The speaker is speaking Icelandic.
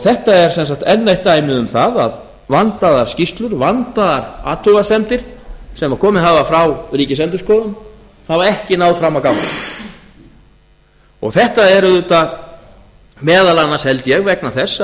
þetta er sem sagt enn eitt dæmi um það að vandaðar skýrslur vandaðar athugasemdir sem komið hafa frá ríkisendurskoðun hafa ekki náð fram að ganga þetta er auðvitað meðal annars held ég vegna þess